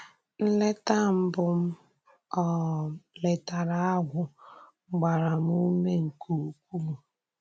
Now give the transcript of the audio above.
Nlètà mbù m um létàrà Ágwù gbàrà m ùmè nke ukwu.